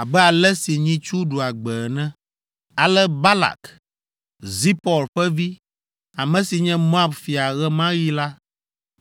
abe ale si nyitsu ɖua gbe ene.” Ale Balak, Zipɔr ƒe vi, ame si nye Moab fia ɣe ma ɣi la,